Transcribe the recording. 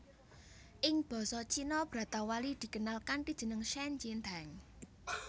Ing basa Cina bratawali dikenal kanthi jeneng shen jin teng